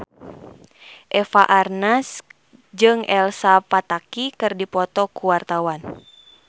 Eva Arnaz jeung Elsa Pataky keur dipoto ku wartawan